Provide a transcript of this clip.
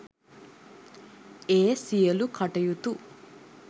ඒ සියලූ කටයුතු